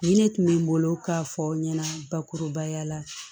Ni ne tun bɛ n bolo k'a fɔ aw ɲɛna bakurubaya la